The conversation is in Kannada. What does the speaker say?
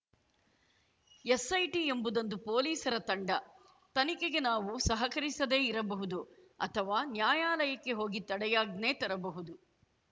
ಎಸ್‌ಐಟಿ ಎಂಬುದೊಂದು ಪೊಲೀಸರ ತಂಡ ತನಿಖೆಗೆ ನಾವು ಸಹಕರಿಸದೇ ಇರಬಹುದು ಅಥವಾ ನ್ಯಾಯಾಲಯಕ್ಕೆ ಹೋಗಿ ತಡೆಯಾಜ್ಞೆ ತರಬಹುದು